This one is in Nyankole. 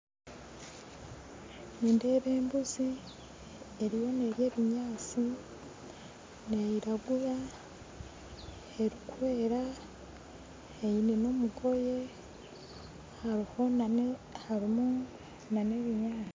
Nindeeba embuzi eriyo nerya ebinyatsi neyiragura erikwera eine nomugoye hariho nana harimu nana ebinyatsi